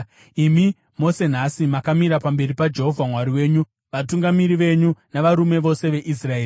Imi mose nhasi makamira pamberi paJehovha Mwari wenyu, vatungamiri venyu navarume vose veIsraeri,